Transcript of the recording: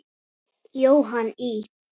Jóhann í